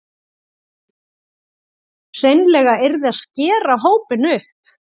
Hreinlega yrði að skera hópinn upp